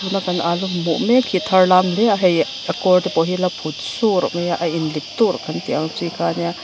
kan alu hmuh mek hi a tharlam hle a hei a kawr te pawh hi ala phut surh maia a inlip turh kan tih ang chi kha ania.